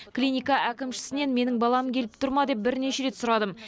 клиника әкімшісінен менің балам келіп тұр ма деп бірнеше рет сұрадым